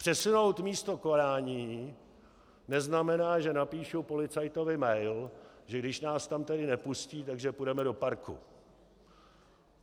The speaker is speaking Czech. Přesunout místo konání neznamená, že napíšu policajtovi mail, že když nás tam tedy nepustí, takže půjdeme do parku.